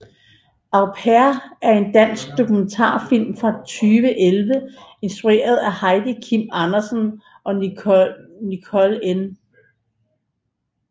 Au pair er en dansk dokumentarfilm fra 2011 instrueret af Heidi Kim Andersen og Nicole N